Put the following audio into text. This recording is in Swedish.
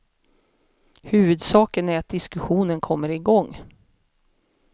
Huvudsaken är att diskussionen kommer igång.